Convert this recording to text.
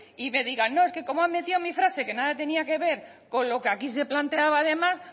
y me digan no es que como han metido mi frase que nada tenía que ver con lo que aquí se planteaba además